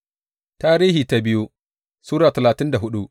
biyu Tarihi Sura talatin da hudu